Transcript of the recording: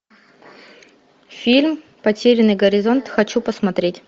фильм потерянный горизонт хочу посмотреть